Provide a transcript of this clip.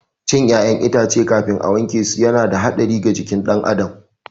Cin ƴaƴan itace kafin a wankesu yana da hatsari ga jikin ɗan adam